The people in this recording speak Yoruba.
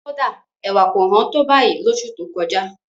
Kódà, ẹ̀wà kò hán tó báyìí lóṣù tó kọjá.